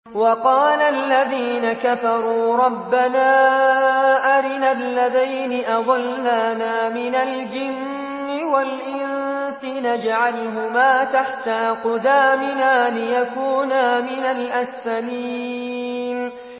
وَقَالَ الَّذِينَ كَفَرُوا رَبَّنَا أَرِنَا اللَّذَيْنِ أَضَلَّانَا مِنَ الْجِنِّ وَالْإِنسِ نَجْعَلْهُمَا تَحْتَ أَقْدَامِنَا لِيَكُونَا مِنَ الْأَسْفَلِينَ